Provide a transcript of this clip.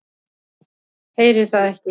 Heyri það ekki.